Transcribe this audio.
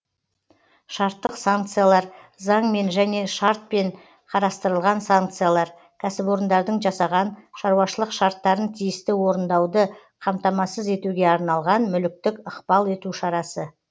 шарттық санкциялар заңмен және шартпен қарастырылған санкциялар кәсіпорындардың жасаған шаруашылық шарттарын тиісті орындауды қамтамасыз етуге арналған мүліктік ықпал ету шарасы